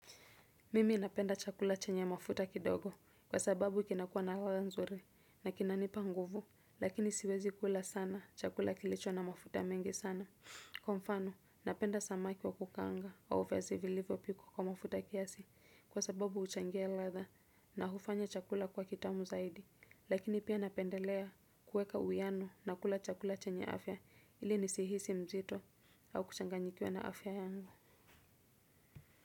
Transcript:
Mimi napenda chakula chenye mafuta kidogo kwa sababu kinakuwa na ladha nzuri na kinanipa nguvu, lakini siwezi kula sana chakula kilicho na mafuta mengi sana. Kwa mfano napenda samaki wa kukanga wa uwezi vilivo piko kwa mafuta kiasi kwa sababu uchangia latha na hufanya chakula kuwa kitamu zaidi lakini pia napendelea kueka uiyano na kula chakula chenye afya ili nisihisi mzito au kuchanganyikiwa na afya yangu.